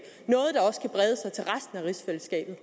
rigsfællesskabet